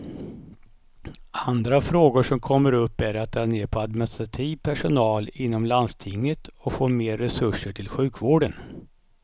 Andra frågor som kommer upp är att dra ner på administrativ personal inom landstinget och få mer resurser till sjukvården.